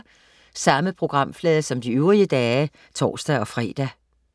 Samme programflade som de øvrige dage (tors-fre)